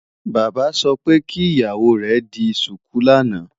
Bàbá sọ pé kí ìyàwó rẹ̀ di ṣùkú lánàá.